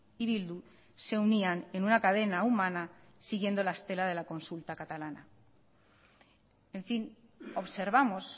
y bildu se unían en una cadena humana siguiendo la estela de la consulta catalana en fin observamos